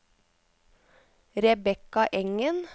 Rebekka Engen